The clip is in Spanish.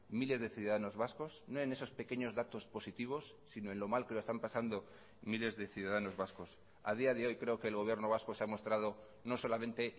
miles de ciudadanos vascos no en esos pequeños datos positivos sino en lo mal que lo están pasando miles de ciudadanos vascos a día de hoy creo que el gobierno vasco se ha mostrado no solamente